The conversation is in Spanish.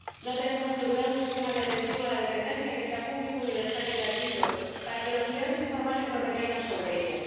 No tenemos asegurado un sistema de atención a la dependencia que sea público, universal y gratuito, para que los cuidados informales no recaigan sobre ellas.